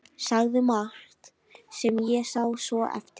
Sagði margt sem ég sá svo eftir.